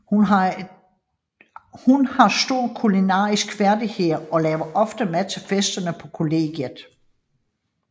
Hun har store kulinariske færdigheder og laver ofte mad til festerne på kollegiet